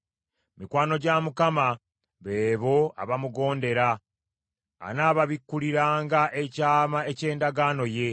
Mikwano gya Mukama be bo abamugondera; anaababikkuliranga ekyama eky’endagaano ye.